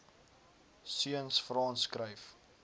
seuns frans skryf